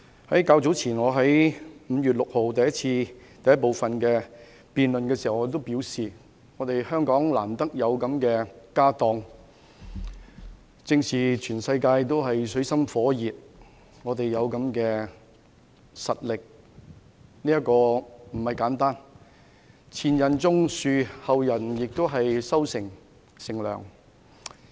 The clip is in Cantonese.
我較早前在5月6日第一個辯論環節中已表示，香港難得有這樣豐厚的"家當"，而當全世界都處於水深火熱之中時，我們可以有這種實力，其實並不簡單。所謂"前人種樹，後人乘涼"。